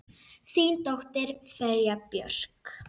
Þín dóttir, Freyja Björk.